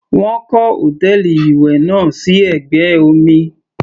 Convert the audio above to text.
Wọ́n kọ́ hòtẹ́ẹ̀lì ìwẹ̀ náà sí ẹ̀gbẹ́ omi.